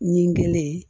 Ɲikelen ye